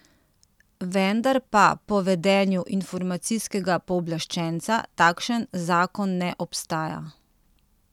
Vendar pa po vedenju informacijskega pooblaščenca takšen zakon ne obstaja.